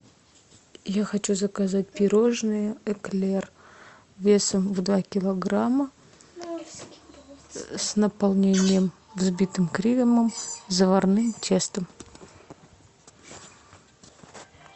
я хочу заказать пирожное эклер весом в два килограмма с наполнением взбитым кремом заварным тестом